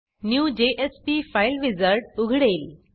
new JSP file wizard उघडेल